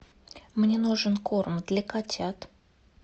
мне нужен корм для котят